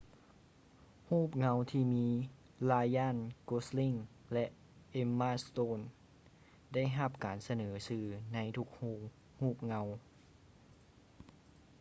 ຮູບເງົາທີ່ມີ ryan gosling ແລະ emma stone ໄດ້ຮັບການສະເໜີຊື່ໃນທຸກໂຮງຮູບເງົາ